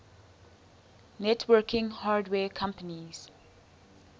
networking hardware companies